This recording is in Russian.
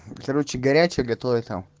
короче горячая готовит там